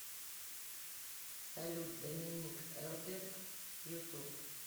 салют доминик элберг ютуб